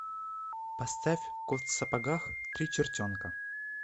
поставь кот в сапогах три чертенка